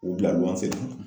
U bila luwanse na